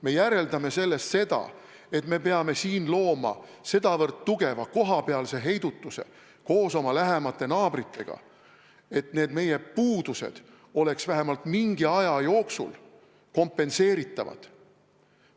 Me järeldame sellest seda, et me peame siin looma sedavõrd tugeva kohapealse heidutuse, koos oma lähemate naabritega, et need meie puudused oleks vähemalt mingi aja jooksul kompenseeritavad.